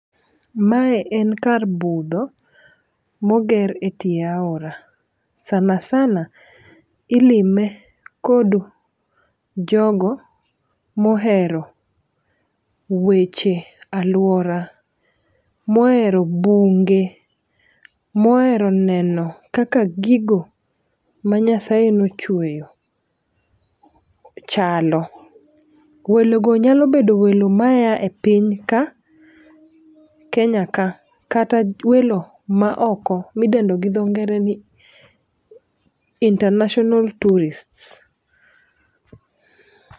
Mae en kar budho moger e tie aora sanasana ilime kod jogo mohero weche aluora, mohero bunge, mohero neno kaka gigo manyasaye nochueyo chalo. Welo go nyalo bedo welo maya e piny kae kenya ka kata welo ma oko midendo gi dho ng'ere ni international tourists